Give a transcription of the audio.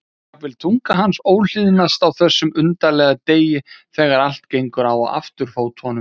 En jafnvel tunga hans óhlýðnast á þessum undarlega degi þegar allt gengur á afturfótunum.